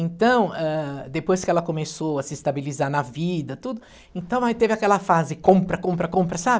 Então, ah, depois que ela começou a se estabilizar na vida, tudo, então aí teve aquela fase, compra, compra, compra, sabe?